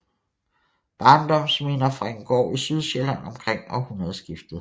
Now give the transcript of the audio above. Barndomsminder fra en gård i Sydsjælland omkring århundredskiftet